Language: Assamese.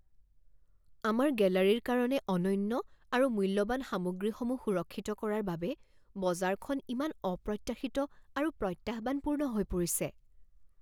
আমাৰ গেলাৰীৰ কাৰণে অনন্য আৰু মূল্যৱান সামগ্ৰীসমূহ সুৰক্ষিত কৰাৰ বাবে বজাৰখন ইমান অপ্ৰত্যাশিত আৰু প্ৰত্যাহ্বানপূৰ্ণ হৈ পৰিছে।